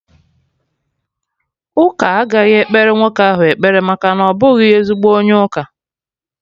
Ụka agaghị ekpere nwoke ahụ ekpere maka na ọ bụghị ezigbo onye ụka